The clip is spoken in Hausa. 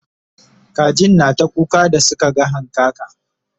kajin na ta kuka da Suka ga hankaka